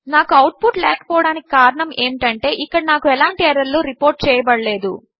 నాకు output లేక పోవడమునకు కారణము ఏమిటి అంటే ఇక్కడ నాకు ఎలాంటి ఎర్రర్ లు రిపోర్ట్ చేయబడలేదు